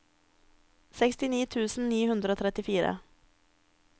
sekstini tusen ni hundre og trettifire